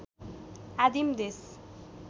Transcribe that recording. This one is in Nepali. आदिम देश